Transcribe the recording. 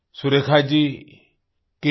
Surekha ji kसी